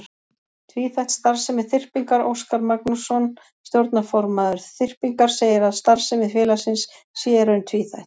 Tvíþætt starfsemi Þyrpingar Óskar Magnússon, stjórnarformaður Þyrpingar, segir að starfsemi félagsins sé í raun tvíþætt.